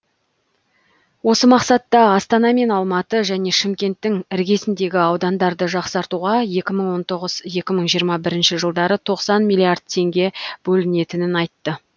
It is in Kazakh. осы мақсатта астана мен алматы және шымкенттің іргесіндегі аудандарды жақсартуға екі мың он тоғыз екі мың жиырма бірінші жылдары тоқсан миллиард теңге бөлінетінін айтты